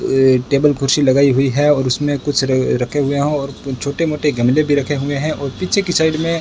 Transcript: अ table कुर्सी लगाई हुई है और उसमें कुछ रखे हुए हैं और छोटे मोटे गमले भी रखे हुए हैं और पीछे की साइड में --